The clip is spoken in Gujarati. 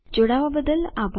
જોડાવાબદ્દલ આભાર